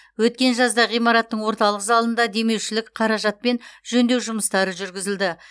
өткен жазда ғимараттың орталық залында демеушілік қаражатпен жөндеу жұмыстары жүргізілді